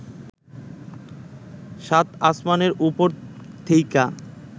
সাত আসমানের ওপর থেইকা